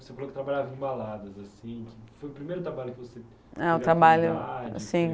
Você falou que trabalhava em baladas assim. Foi o primeiro trabalho que você... É, o trabalho, assim...